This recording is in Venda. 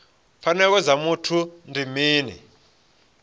pfanelo dza muthu ndi mini